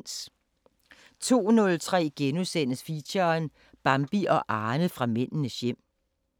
02:03: Feature: Bambi og Arne fra Mændenes hjem